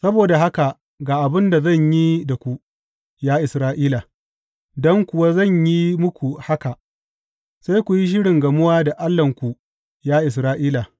Saboda haka ga abin da zan yi da ku, ya Isra’ila, don kuwa zan yi muku haka, sai ku yi shirin gamuwa da Allahnku, ya Isra’ila.